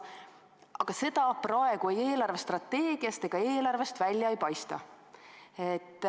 Aga seda praegu ei eelarvestrateegiast ega eelarvest välja ei paista.